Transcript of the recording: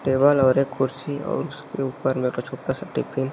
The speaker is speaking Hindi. टेबल और एक खुर्सी और उसके ऊपर में एक ठो छोटा सा टिफिन --